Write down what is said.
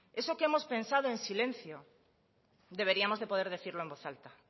eso que hemos pensado en silencio deberíamos de poder decirlo en voz alta